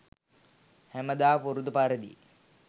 හැම දා පුරුදු පරිදි